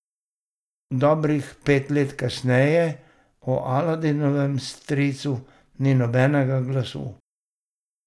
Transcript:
Dobrih pet let kasneje o Aladinovem stricu ni nobenega glasu.